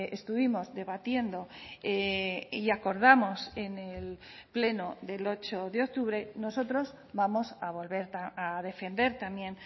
estuvimos debatiendo y acordamos en el pleno del ocho de octubre nosotros vamos a volver a defender también